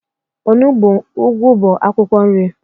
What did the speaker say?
Onugbo, ugwu bụ akwụkwọ nri